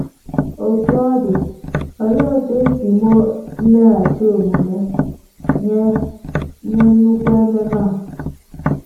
Otú ọ dị um, olee otú um e si um meghachi omume nye nye nnukwu ememe a?